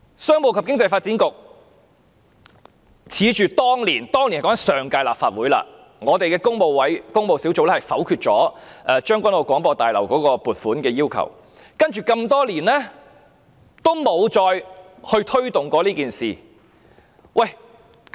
商務及經濟發展局恃着當年——當年是指上屆立法會——工務小組委員會否決了將軍澳廣播大樓的撥款建議，接下來多年也沒再推動這事。